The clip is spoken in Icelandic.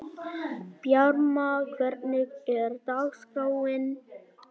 Bjarma, hvernig er dagskráin?